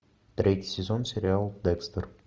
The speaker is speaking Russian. третий сезон сериал декстер